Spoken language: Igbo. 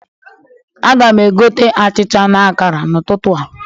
Aga m egote achịcha na akara n'ụtụtụ a.